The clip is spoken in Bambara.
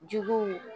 Juguw